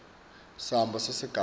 samba sesigaba a